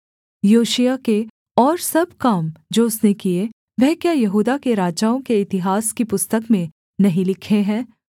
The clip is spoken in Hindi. योशिय्याह के और सब काम जो उसने किए वह क्या यहूदा के राजाओं के इतिहास की पुस्तक में नहीं लिखे हैं